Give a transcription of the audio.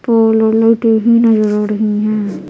पोल ओ लाइट ए भी नज़र आ रही है ।